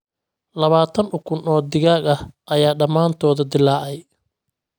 Labaatan ukun oo digaag ah ayaa dhammaantood dillaacay